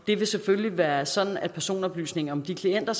det vil selvfølgelig være sådan at personoplysninger om de klienter